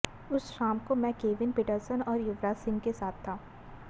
उस शाम को मैं केविन पीटरसन और युवराज सिंह के साथ था